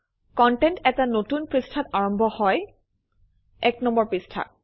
content এটা নতুন পৃষ্ঠাত আৰম্ভ হয় ১ নম্বৰ পৃষ্ঠাত